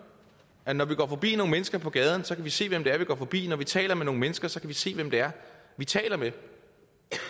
at når vi går forbi nogle mennesker på gaden så kan vi se hvem det er vi går forbi når vi taler med nogle mennesker så kan vi se hvem det er vi taler med jo